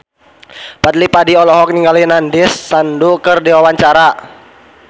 Fadly Padi olohok ningali Nandish Sandhu keur diwawancara